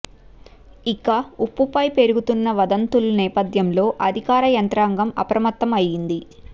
ఇక ఉప్పుపై పెరుగుతున్న వదంతుల నేపధ్యంలో అధికార యంత్రాంగం అప్రమత్తం అయింది